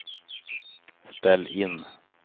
ställ in